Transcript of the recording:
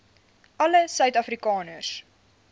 alle suid afrikaners